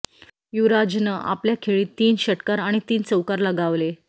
युवराजनं आपल्या खेळीत तीन षटकार आणि तीन चौकार लगावले